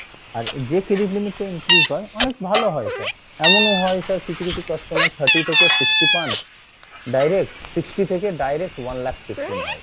আর যে credit limit টা increase হয় অনেক ভালো হয় sir, এমনও হয় sir কিছু কিছু customer thirty থেকে sixty পান direct sixty থেকে direct one lakh fifteen হয়,